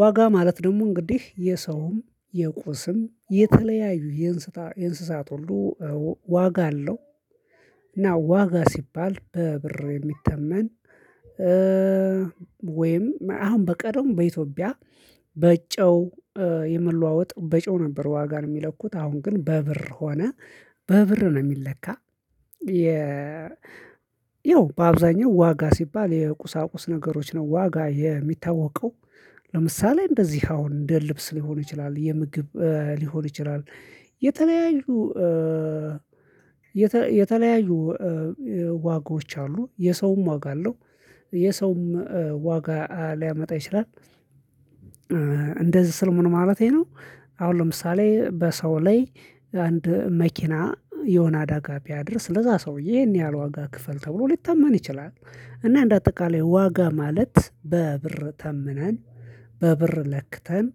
ዋጋ ማለት ደግሞ እንግዲህ የሰውም የቁስም የተለያዩ የእንስሳት ሁሉ ዋጋ አለው። እና ዋጋ ሲባል በብር የሚተመን ወይም አሁን በቀደሙ በኢትዮጵያ በጨው የመለዋወጥ በጨው ነበር ዋጋን የሚለኩት አሁን ግን በ ብር ሆነ በ ብር ነው የሚለካ። ያው በአብዛኛው ዋጋ ሲባል የቁሳቁስ ነገሮች ነው ዋጋ የሚታወቀው ለምሳሌ እንደዚህ አሁን እንደ ልብስ ሊሆን ይችላል የምግብ ሊሆን ይችላል። የተለያዩ ዋጋዎች አሉ የሰውም ዋጋ አለው የሰውም ዋጋ ሊያመጣ ይችላል። እንደዚህ ስል ምን ማለቴ ነው። አሁን ለምሳሌ በሰው ላይ አንድ መኪና የሆነ አደጋ ቢያደርስ ለዛ ሰውዬ ይሄን ያህል ዋጋ ክፈል ተብሎ ሊተመን ይችላል እና እንደ አጠቃላይ ዋጋ ማለት በ ብር ተምነን በብር ለክተን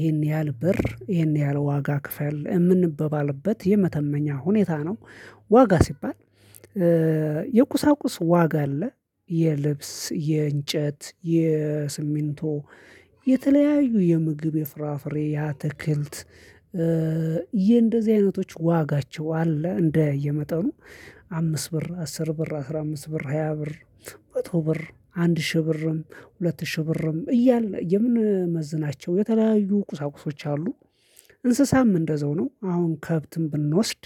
ይሄን ያህል ብር ይሄን ያህል ዋጋ ክፈል የምንበባልበት የመተመኛ ሁኔታ ነው። ዋጋ ሲባል። የቁሳቁስ ዋጋ አለ የልብስ የእንጨት የስሚንቶ የተለያዩ የምግብ የፍራፍሬ የአትክልት የእንደዚህ አይነቶች ዋጋቸው አለ እንደየመጠኑ አምስት ብር አስር ብር አስራ አምስት ብር ሃያ ብር መቶ ብር አንድ ሺህ ብርም ሁለት ሺህ ብርም እያልን የምንመዝናቸው የተለያዩ ቁሳቁሶች አሉ። እንስሳም እንደዛው ነው አሁን ከብትን ብንወስድ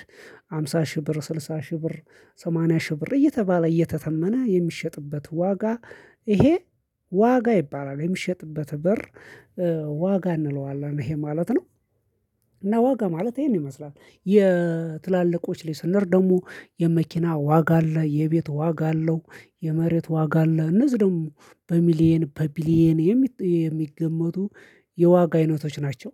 ሃምሳ ሺህ ብር ስልሳ ሺህ ብር ሰማንያ ሺህ ብር እየተባለ እየተተመነ የሚሸጥበት ዋጋ ይሄ ዋጋ ይባላል የሚሸጥበት ብር ዋጋ እንለዋለን ይሄ ማለት ነው። እና ዋጋ ማለት ይሄን ይመስላል የትላልቆች ሌሰንደር ደግሞ የመኪና ዋጋ አለ የቤት ዋጋ አለው የመሬት ዋጋ አለ እነዚህ ደግሞ በሚሊየን በቢሊየን የሚገመቱ የዋጋ አይነቶች ናቸው